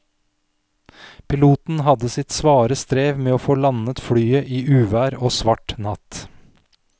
Piloten hadde sitt svare strev med å få landet flyet i uvær og svart natt.